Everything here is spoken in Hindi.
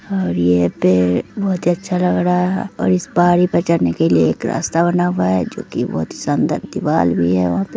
और ये पेड़ बहुत ही अच्छा लग रहा हैंऔर इस पहाड़ी चढने के लिए एक रास्ता बना हुआ हैं जो की बहुत ही शानदार दीवाल भी हैं वहां पे--